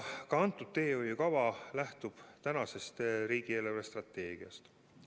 Ka praegune teehoiukava lähtub riigi eelarvestrateegiast.